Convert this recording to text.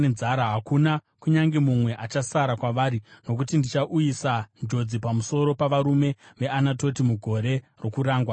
Hakuna kunyange mumwe achasara kwavari, nokuti ndichauyisa njodzi pamusoro pavarume veAnatoti mugore rokurangwa kwavo.’ ”